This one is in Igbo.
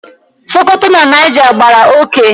Sokoto na Niger gbàrà oké